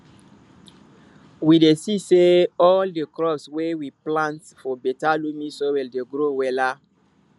we dey see say all di crops wey we plant for beta loamy soil dey grow wella